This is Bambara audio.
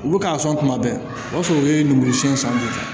Olu ka sɔn kuma bɛɛ o b'a sɔrɔ u ye lemuru siɲɛ san bɛɛ ta